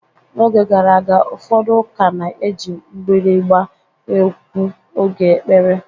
N'oge gara aga, ụfọdụ ụka na-eji mgbịrịgba ekwu oge ekpere.